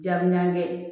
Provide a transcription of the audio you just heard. Diyabi naani kɛ